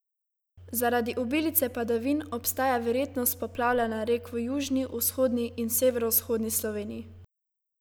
Zaradi obilice padavin obstaja verjetnost poplavljanja rek v južni, vzhodni in severovzhodni Sloveniji.